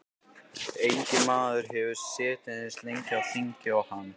Enginn maður hefur setið eins lengi á þingi og hann.